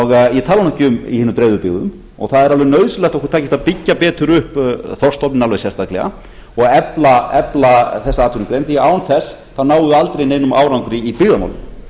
hinum dreifðu byggðum og það er alveg nauðsynlegt að okkur takist að byggja betur upp þorskstofninn alveg sérstaklega og efla þessa atvinnugrein því án þess náum við aldrei neinum árangri í byggðamálum